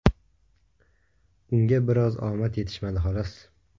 Unga biroz omad yetishmadi , xolos.